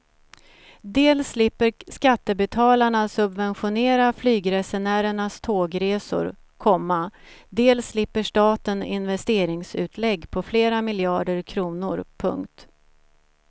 Dels slipper skattebetalarna subventionera flygresenärernas tågresor, komma dels slipper staten investeringsutlägg på flera miljarder kronor. punkt